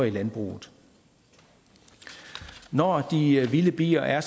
i landbruget når de vilde bier er